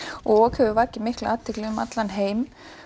ok hefur vakið mikla athygli um allan heim